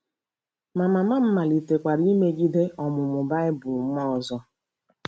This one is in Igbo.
Ma, mama m malitekwara imegide ọmụmụ Baịbụl m ọzọ.